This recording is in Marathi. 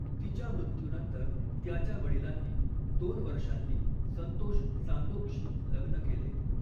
तिच्या मृत्यूनंतर त्याच्या वडिलांनी दोन वर्षांनी संतोष चांदोकशी लग्न केले.